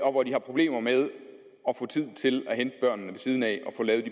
og hvor de har problemer med at få tid til at hente børnene ved siden af